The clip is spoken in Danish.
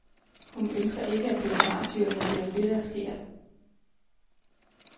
Hun ønsker ikke at blive martyr, men det er jo det, der sker.